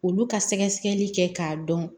Olu ka sɛgɛsɛli kɛ k'a dɔn